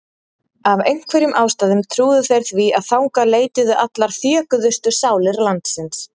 Af einhverjum ástæðum trúðu þeir því að þangað leituðu allar þjökuðustu sálir landsins.